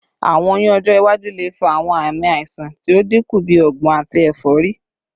Awọn oyun ọjọ iwaju le fa awọn aami aiṣan ti o dinku bi ọgbun ati efori